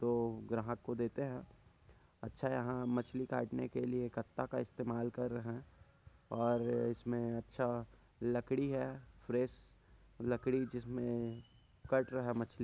जो ग्राहक को देते है। अच्छा यहा मछली काटने के लिए कत्ता का इस्तेमाल कर रहे है और इसमे अच्छा लकड़ी है फ्रेश लकड़ी जिसमे काट रहे मछली--